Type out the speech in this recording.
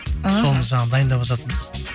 соны жаңа дайындап жатырмыз